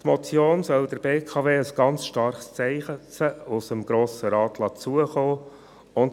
Diese Motion soll der BKW ein starkes Zeichen aus dem Grossen Rat zukommen lassen.